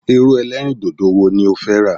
Irú ẹlẹ́rìndòdò wo ni ó fẹ́ rà?